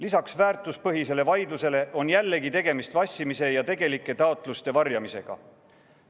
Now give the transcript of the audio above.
Lisaks väärtuspõhisele vaidlusele on jällegi tegemist vassimise ja tegelike taotluste varjamisega.